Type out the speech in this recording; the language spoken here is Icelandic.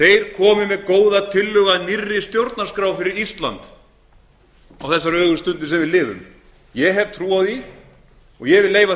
komi með góða tillögu að nýrri stjórnarskrá fyrir ísland á þeirri ögurstundu sem við lifum ég hef trú á því og ég vil leyfa